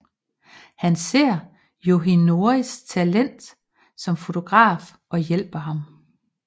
Han ser Yoshinoris talent som fotograf og hjælper ham